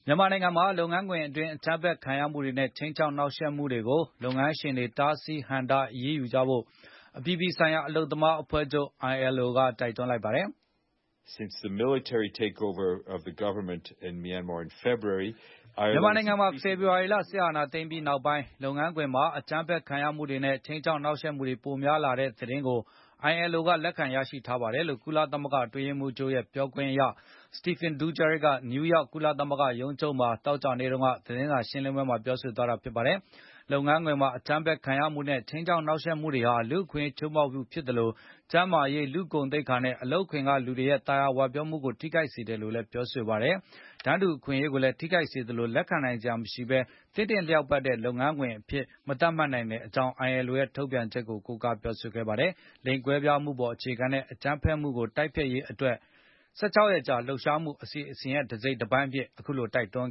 မြန်မာနိုင်ငံမှာ လုပ်ငန်းခွင်တွင်း အကြမ်းဖက် ခံရမှုတွေနဲ့ ခြိမ်းခြောက် နှောက်ယှက်မှုတွေကို လုပ်ငန်းရှင်တွေ တားဆီးဟန့်တား အရေးယူဖို့ အပြည်ပြည်ဆိုင်ရာ အလုပ်သမားအဖွဲ့ချုပ် ILO က တိုက်တွန်းလိုက်ပါတယ်။ “မြန်မာနိုင်ငံမှာ ဖေဖော်ဝါရီလ စစ်အာဏာသိမ်းပြီးနောက်ပိုင်း၊ လုပ်ငန်းခွင်မှာ အကြမ်းဖက်ခံရမှုတွေနဲ့ ခြိမ်းခြောက်နှောက်ယှက်မှုတွေ ပိုများလာတဲ့ သတင်းတွေကို ILO က လက်ခံရရှိထားပါတယ်။” လို့ ကုလသမဂ္ဂ အတွင်းရေးမှူးချုပ်ရဲ့ ပြောခွင့်ရ Stephane Dujarric က နယူးယောက် ကုလသမဂ္ဂ ရုံးချုပ်က သောကြာနေ့ သတင်းစာ ရှင်းလင်းပွဲမှာ ပြောဆိုသွားတာပါ။ လုပ်ငန်းခွင်မှာ အကြမ်းဖက်ခံရမှုတွေနဲ့ ခြိမ်းခြောက်နှောက်ယှက်မှုတွေဟာ လူ့အခွင့်အရေး ချိုးဖောက်မှု ဖြစ်သလို၊ ကျန်းမာရေး၊ လူ့ဂုဏ်သိက္ခာနဲ့ အလုပ်ခွင်ကလူတွေရဲ့ သာယာဝပြောမှုတွေကို ထိခိုက်စေပါတယ်လို့လည်း ပြောပါတယ်။ တန်းတူအခွင့်အရေးကိုလည်း ထိခိုက်စေသလို လက်ခံနိုင်စရာမရှိပဲ သင့်တင့်လျောက်ပတ်တဲ့ လုပ်ငန်းခွင်အဖြစ် မသတ်မှတ်နိုင်ကြောင်းလည်း ILO ရဲ့ ထုတ်ပြန်ချက်ကို ကိုးကားပြောဆိုသွားပါတယ်။ လိင်ကွဲပြားမှုအပေါ် အခြေခံတဲ့ အကြမ်းဖက်မှုတွေကို တိုက်ဖျက်ရေး ၁၆ ရက်ကြာ လှုပ်ရှားမှု အစီအစဉ် တစိတ်တပိုင်းအဖြစ် တိုက်တွန်း